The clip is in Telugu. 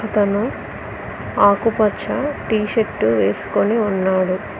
ఇతను ఆకుపచ్చ టీ షర్టు వేసుకుని ఉన్నాడు.